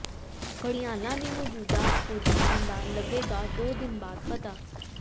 ਘੜਿਆਲਾਂ ਦੀ ਮੌਜੂਦਾ ਪੋਜੀਸ਼ਨ ਦਾ ਲੱਗੇਗਾ ਦੋ ਦਿਨ ਬਾਅਦ ਪਤਾ